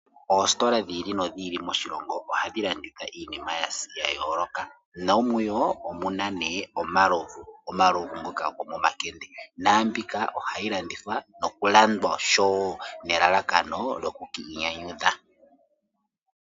Oositola dhili nodhili moshilongo ohadhi landitha iinima yayooloka nomuyo omuna ne omalovu, omalovu ngoka gomomakende namibika ohayi landithwa nokulandwa osho wo nelalakano lyokwiinyanyudha.